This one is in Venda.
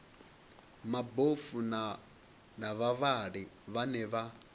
mabofu na vhavhali vhane vha